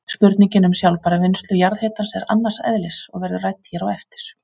Spurningin um sjálfbæra vinnslu jarðhitans er annars eðlis og verður rædd hér á eftir.